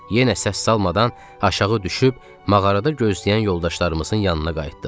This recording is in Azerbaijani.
Yenə səs salmadan aşağı düşüb mağarada gözləyən yoldaşlarımızın yanına qayıtdıq.